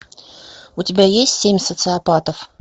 у тебя есть семь социопатов